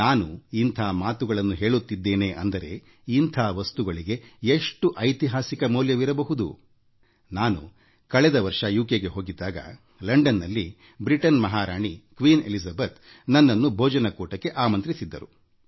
ನಾನು ಇಂಥ ಮಾತುಗಳನ್ನ ಹೇಳುತ್ತಿದ್ದೇನೆ ಅಂದರೆ ಇಂಥ ವಸ್ತುಗಳಿಗೆ ಎಷ್ಟು ಐತಿಹಾಸಿಕ ಮೌಲ್ಯವಿರಬಹುದು ನಾನು ಕಳೆದ ವರ್ಷ ಇಂಗ್ಲೆಂಡ್ ಗೆ ಭೇಟಿ ನೀಡಿದ್ದಾಗ ಬ್ರಿಟನ್ ಮಹಾರಾಣಿ ಕ್ವೀನ್ ಎಲಿಜಬೆತ್ ನನ್ನನ್ನು ಅವರೊಂದಿಗೆ ಭೋಜನಕೂಟಕ್ಕೆ ಆಮಂತ್ರಿಸಿದ್ದರು